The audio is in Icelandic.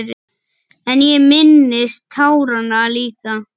En ég minnist táranna líka.